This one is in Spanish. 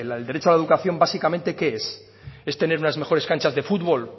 el derecho a la educación básicamente qué es es tener unas mejores canchas de futbol